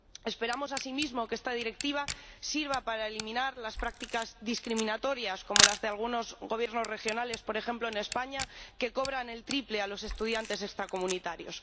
Esperamos, asimismo, que esta Directiva sirva para eliminar las prácticas discriminatorias, como las de algunos Gobiernos regionales, por ejemplo en España, que cobran el triple a los estudiantes extracomunitarios.